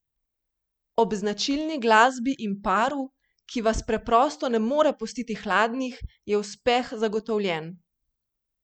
Ob značilni glasbi in paru, ki vas preprosto ne more pustiti hladnih, je uspeh zagotovljen.